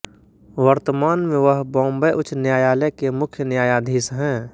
वर्तमान में वह बॉम्बे उच्च न्यायालय के मुख्य न्यायाधीश हैं